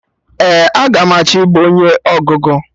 Ee, aga m achọ ibu onye ọgụgụ